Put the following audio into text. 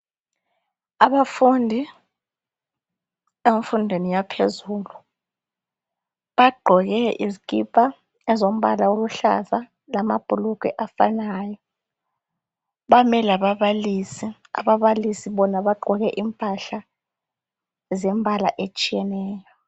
Abafundi bemfundo yaphezulu bagqoke izikipa ezilombala lamabhulugwa ofanayo ,kanye lababalisi ababalisi bona bagqoke impahla zombala otshiyeneyo .